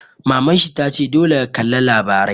Maman shi ta ce 'Dole ka kalla labarai'!